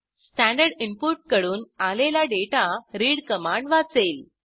standard input कडून आलेला data read command वाचेल